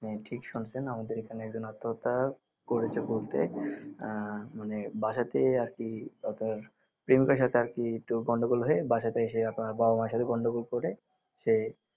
হ্যা ঠিক শুনছেন আমাদের এখানে একজন আত্মহত্যা করেছে বলতে আহ মানে বাসাতেই আর কি আপনার প্রেমিকার সাথে আর কি একটু গন্ডগোল হয়ে বাসাতেই সে আপনার বাবা মায়ের সাথে গন্ডগোল করে সে